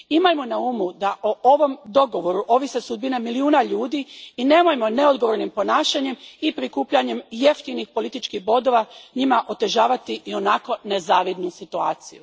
Imajmo na umu da o ovom dogovoru ovise sudbine milijuna ljudi i nemojmo neodgovornim ponašanjem i prikupljanjem jeftinih političkih bodova njima otežavati ionako nezavidnu situaciju.